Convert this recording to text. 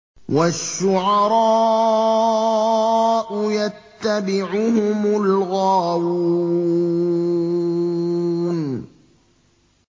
وَالشُّعَرَاءُ يَتَّبِعُهُمُ الْغَاوُونَ